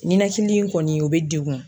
Nɛnakili in kɔni o bɛ degun.